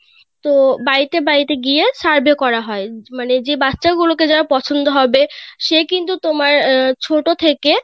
তো বাড়িতে বাড়িতে গিয়ে survey করা হয় মানে যে বাচ্চা গুলো কে যার পছন্দ হবে সে কিন্তু তোমার আহ ছোট থেকে